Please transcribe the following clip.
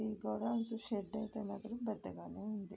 ఈ godowns shed అయితే మాత్రం పెద్దగానే ఉంది.